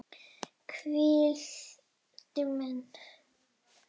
Hvílíkt minni!